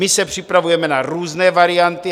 My se připravujeme na různé varianty.